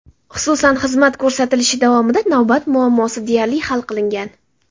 Xususan, xizmat ko‘rsatilishi davomida navbat muammosi deyarli hal qilingan.